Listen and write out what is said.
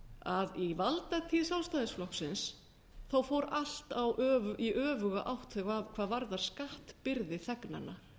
að í valdatíð sjálfstæðisflokksins fór allt í öfuga átt hvað aðrar skattbyrði þegnanna